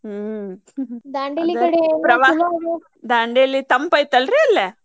ಹ್ಮ್ ದಾಂಡೇಲಿ ತಂಪ ಐತಲ್ರಿ ಅಲ್ಲೇ?